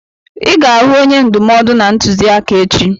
I ga-ahụ onye ndụmọdụ na ntụziaka echi!